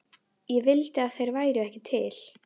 Ég vildi að þeir væru ekki til.